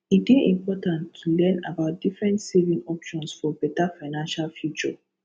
e dey important to learn about different saving options for beta financial future